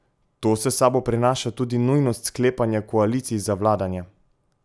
To s sabo prinaša tudi nujnost sklepanja koalicij za vladanje.